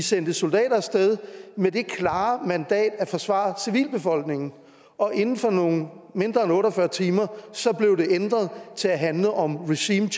sendte soldater af sted med det klare mandat at forsvare civilbefolkningen og inden for mindre end otte og fyrre timer blev det ændret til at handle om regime